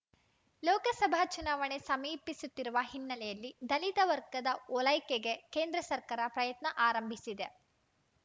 ಲೋಕಸಭೆ ಚುನಾವಣೆ ಸಮೀಪಿಸುತ್ತಿರುವ ಹಿನ್ನೆಲೆಯಲ್ಲಿ ದಲಿತ ವರ್ಗದ ಓಲೈಕೆಗೆ ಕೇಂದ್ರ ಸರ್ಕಾರ ಪ್ರಯತ್ನ ಆರಂಭಿಸಿದೆ